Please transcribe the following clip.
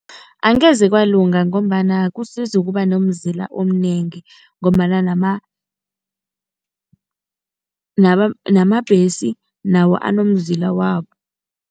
Angeze kwalunga ngombana kusiza ukuba nomzila omnengi ngombana namabhesi nawo anomzila wabo.